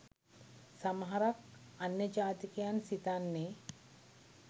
සමහරක් අන්‍ය ජාතිකයන්‍ සිතන්නේ